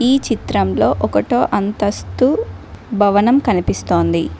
ఈ చిత్రంలో ఒకటో అంతస్తు భవనం కనిపిస్తోంది.